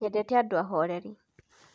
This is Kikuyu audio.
Nyendete andũ ahoreri.